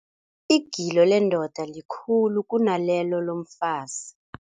Igilo lendoda likhulu kunalelo lomfazi.